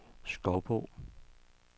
Skovbo